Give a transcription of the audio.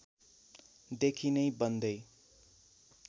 देखि नै बन्दै